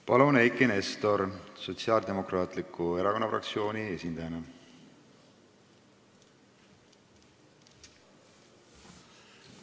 Palun, Eiki Nestor Sotsiaaldemokraatliku Erakonna fraktsiooni esindajana!